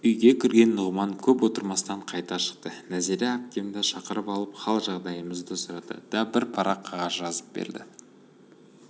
үйге кірген нұғыман көп отырмастан қайта шықты нәзира әпкемді шақырып алып хал-жағдайымызды сұрады да бір парақ қағаз жазып берді